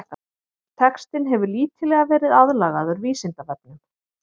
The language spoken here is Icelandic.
Textinn hefur lítillega verið aðlagaður Vísindavefnum.